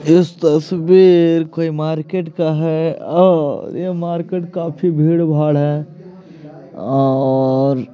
इस तस्वीर कोई मार्केट का हैं और ये मार्केट काफी भीड़-भाड़ हैं और --